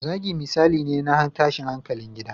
Zagi misali ne na tashin hankalin gida